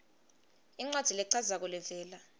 incwadzi lechazako levela